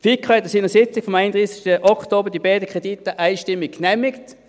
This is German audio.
Die FiKo hat an ihrer Sitzung vom 31. Oktober die beiden Kredite einstimmig genehmigt.